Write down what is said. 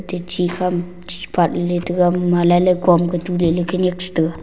te chi kham chi patley taiga aboma lailai komtoley khenyak chetega.